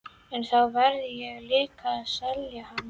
En þá verð ég líka að selja hann.